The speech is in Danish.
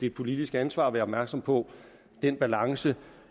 et politisk ansvar at være opmærksom på den balance